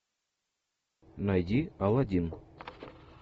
найди алладин